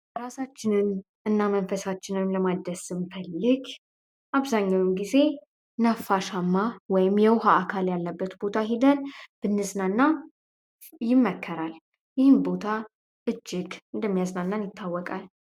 እራሳችንን እና መንፈሳችንንም ለማደስም ስንፈልግ አብዛኛውን ጊዜ ነፋሻማ ወይም የውሃ አካል ያለበት ቦታ ሂደን ብንዝናና ይመከራል። ይህም ቦታ እጅግ እንደሚያዝናናን ይታወቃል።